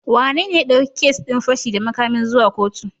Wanene ya ɗauki kes din fashi da makamin zuwa kotu?